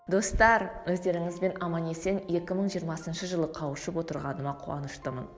достар өздеріңізбен аман есен екі мың жиырмасыншы жылы қауышып отырғаныма қуаныштымын